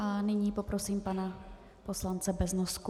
A nyní poprosím pana poslance Beznosku.